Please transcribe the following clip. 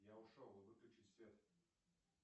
я ушел выключить свет